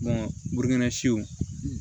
burukina siw